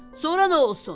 Sonra nə olsun?